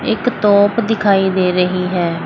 एक तोप दिखाई दे रही है।